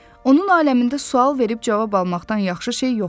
Onun aləmində sual verib cavab almaqdan yaxşı şey yox idi.